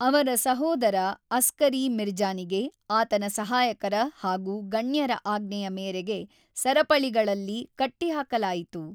ಅವರ ಸಹೋದರ ಅಸ್ಕರಿ ಮಿರ್ಜಾನಿಗೆ ಆತನ ಸಹಾಯಕರ ಹಾಗು ಗಣ್ಯರ ಆಜ್ಞೆಯ ಮೇರೆಗೆ ಸರಪಳಿಗಳಲ್ಲಿ ಕಟ್ಟಿಹಾಕಲಾಯಿತು.